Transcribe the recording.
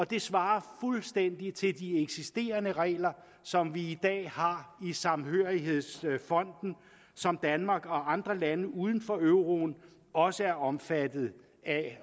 det svarer fuldstændig til de eksisterende regler som vi i dag har i samhørighedsfonden og som danmark og andre lande uden for euroen også er omfattet af